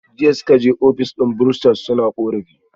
Jiya suka je office din bursar suna korafi